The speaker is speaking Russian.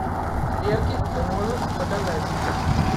клерки ты можешь показать